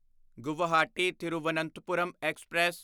Guwahati Thiruvananthapuram express